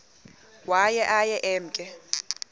waye aye emke